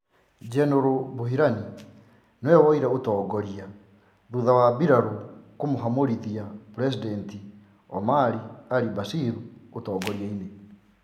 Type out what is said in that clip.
Jenerali Buhran niwe woyire utongoria thutha wa mbiraru kumuhamurithia president Omar al-Bashir utongoria-ini.